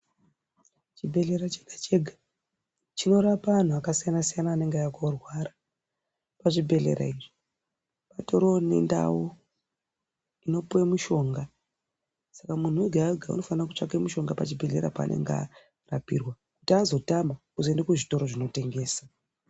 Chibhehlera chega chega chinorapa anhu akasiyanasiyana anenge auya korwara, muzvibhehlera izvi patoriwo nendau inopuwe mushonga saka munhu wega wega unofanire kutsvake mushonga pachibhehlera paanenge arapipirwa kuti azotama oende kuzvitoro zvinotengesa.